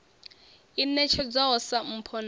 i ṋetshedzwaho sa mpho na